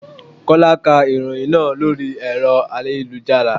Kọ́lá ká ìròhìn náà lórí ẹ̀rọ ayélujára.